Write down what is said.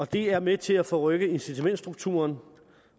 det er med til at forrykke incitamentsstrukturen